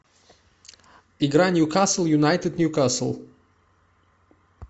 игра ньюкасл юнайтед ньюкасл